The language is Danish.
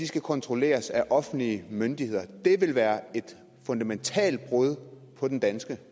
skal kontrolleres af offentlige myndigheder det vil være et fundamentalt brud på den danske